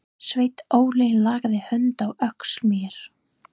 Sveinn Óli lagði hönd á öxl mér.